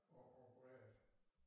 Og opererede